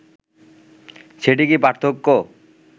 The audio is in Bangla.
সেটি কি পার্থক্য